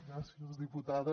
gràcies diputada